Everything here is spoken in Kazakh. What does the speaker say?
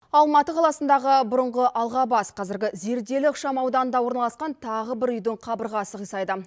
алматы қаласындағы бұрынғы алғабас қазіргі зерделі ықшам ауданында орналасқан тағы бір үйдің қабырғасы қисайды